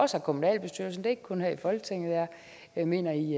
også i kommunalbestyrelserne ikke kun her i folketinget jeg mener i